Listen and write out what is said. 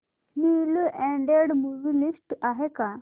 newly added movie list आहे का